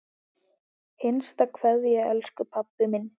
HINSTA KVEÐJA Elsku pabbi minn.